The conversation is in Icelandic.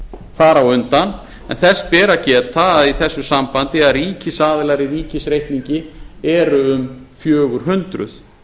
þar á undan en þess ber að geta í þessu sambandi að ríkisaðilar í ríkisreikningi eru um fjögur hundruð